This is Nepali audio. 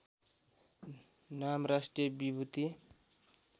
नाम राष्ट्रिय विभूति